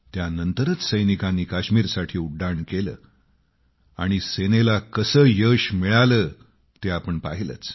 त्यानंतरच सैनिकांनी काश्मीरसाठी उड्डाण केले आणि सेनेला कसे यश मिळाले ते आपण पाहिलेच